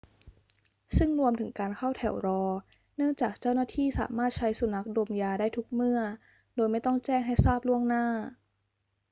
ซึ่งรวมถึงการเข้าแถวรอ เนื่องจากเจ้าหน้าที่สามารถใช้สุนัขดมยาได้ทุกเมื่อโดยไม่ต้องแจ้งให้ทราบล่วงหน้า